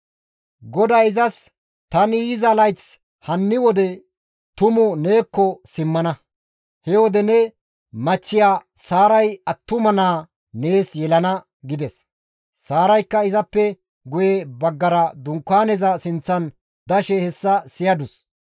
GODAY izas, «Tani yiza layth hanni wode tumu neekko simmana; he wode ne machchiya Saaray attuma naa nees yelana» gides. Saaraykka izappe guye baggara dunkaaneza sinththan dashe hessa siyadus.